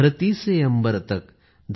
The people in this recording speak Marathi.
धरती से अम्बर तक